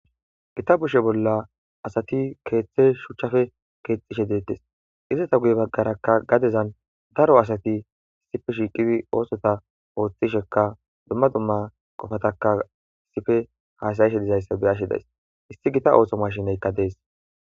gita bushe bolla asati keeththe shuchchafe keexxishe deettes izata guye baggarakka gadezan daro asati issife shiiqibi oosota ooththishekka dumma domma qofataka issife haasayishe dizayssa beyashe days issi gita ooso mashineykka dees